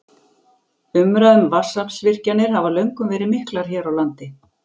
Umræður um vatnsaflsvirkjanir hafa löngum verið miklar hér á landi.